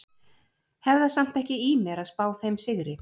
Hef það samt ekki í mér að spá þeim sigri.